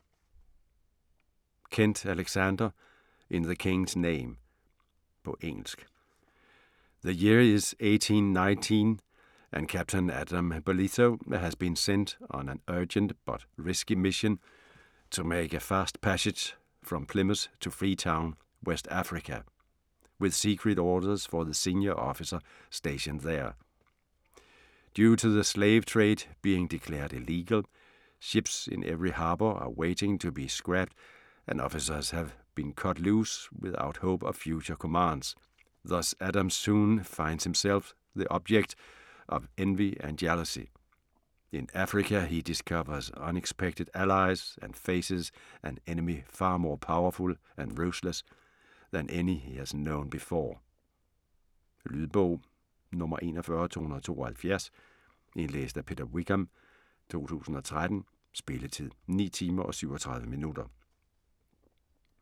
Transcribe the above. Kent, Alexander: In the king's name På engelsk. The year is 1819 and Captain Adam Bolitho has been sent on an urgent but risky mission to make a fast passage from Plymouth to Freetown, West Africa, with secret orders for the senior officer stationed there. Due to the slave trade being declared illegal, ships in every harbor are waiting to be scrapped and officers have been cut loose without hope of future commands, thus Adam soon finds himself the object of envy and jealousy. In Africa he discovers unexpected allies and faces an enemy far more powerful and ruthless than any he has known before. Lydbog 41272 Indlæst af Peter Wickham, 2013. Spilletid: 9 timer, 37 minutter.